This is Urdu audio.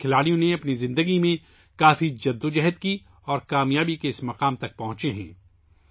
ان کھلاڑیوں نے اپنی زندگی میں بہت جدوجہد کی ہے اور کامیابی کے اس مرحلے تک پہنچے ہیں